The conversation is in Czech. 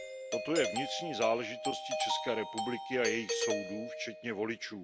Toto je vnitřní záležitostí České republiky a jejích soudů včetně voličů.